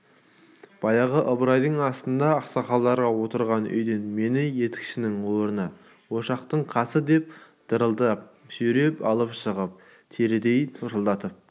баяғы ыбырайдың асында ақсақалдар отырған үйден мені етікшінің орны ошақтың қасы деп дырылдатып сүйреп алып шығып терідей торсылдатып